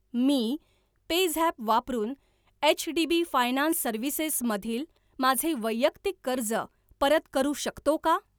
मी PayZapp वापरून HDB finance services मधील माझे वैयक्तिक कर्ज परत करू शकतो का?